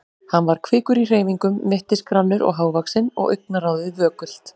Hann var kvikur í hreyfingum, mittisgrannur og hávaxinn og augnaráðið vökult.